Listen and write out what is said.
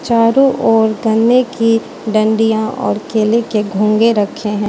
चारों ओर गन्ने की डंडियां और केले के घोंगे रखे हैं।